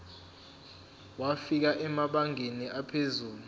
wafika emabangeni aphezulu